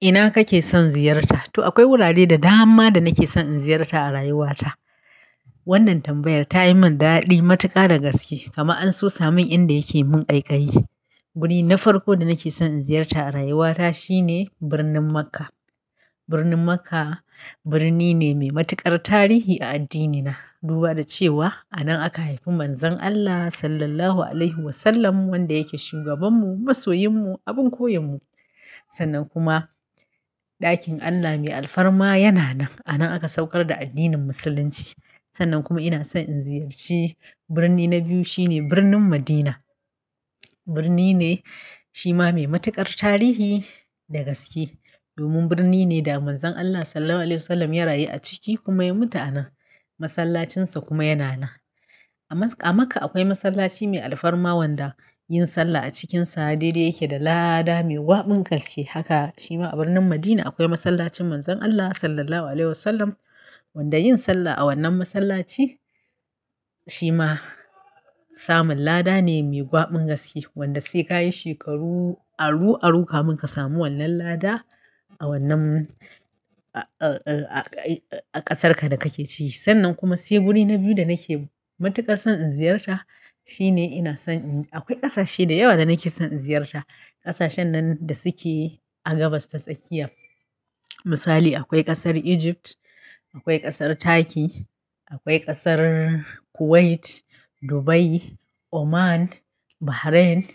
Ina kake son ziyarta? To akwai wurare da dama da nake son in ziyarta a rayuwata. Wannan tambayar ta yi min daɗi matuƙa da gaske. Kama an sosa min inda yake mun ƙaƙayi. Guri na farko da nake son in ziyarta a rayuwata shine birnin Makka. Birnin Makka birni ne mai matuƙar tarihi a addinina. Duba da cewa a nan aka haifi Manzon Allah, Sallallahu Alaihi Wasallam, wanda yake shugabanmu, masoyinmu, abin koyonmu. Sannan kuma ɗakin Allah mai alfarma yana nan. A nan aka saukar da addinin Musulunci. Sannan kuma ina son in ziyarci birni na biyu shine birnin Madina. Birni ne shi ma mai matuƙar tarihi da gaske. Domin birni ne da Manzon Allah Sallallahu Alaihi Wasallam ya rayu a ciki kuma ya mutu a nan. Masallacinsa kuma yana nan. A Makka akwai masallaci mai alfarma wanda, yin sallah a cikinsa daidai yake da lada mai gwabin gaske. Haka shi ma a birnin Madina akwai masallacin Manzon Allah Sallallahu Alaihi Wasallam wanda yin sallah a wannan masallaci shi ma samun lada ne mai gwabin gaske. Wanda sai ka yi shekaru aru-aru kamin ka samu wannan lada, a wannan, a, a, a ƙasarka da kake ci Sannan kuma sai guri na biyu da nake matuƙar son in ziyarta, shine ina son in Akwai ƙasashe da yawa da nake son in ziyarta. Ƙasashen nan da suke, a gabas ta tsakiya. Misali akwai ƙasar Egypt, akwai ƙasar Turkey, akwai ƙasar Kuwait, Dubai, Oman, Bahrain.